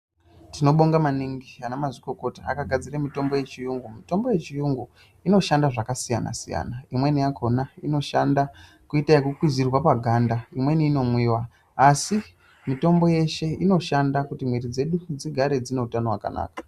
Tinobonga maningi ana mazvikokota akagadzira mitombo yechiyungu mitombo yechiyungu inoshanda zvakasiyana siyana imweni yakona inoshanda kuita yekukwidzirwa paganda imweni inomwiwa asi mitombo yeshe inoshanda kuti mwiri dzedu dzigare dzine utano hwakanaka.